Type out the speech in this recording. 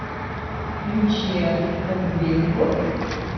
лючия фон беренготт